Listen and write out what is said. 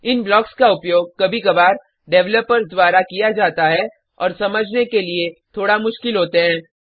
इन blocks का उपयोग कभी कभार डेवलपर्स द्वारा किया जाता है और समझने के लिए थोड़ा मुश्किल होते हैं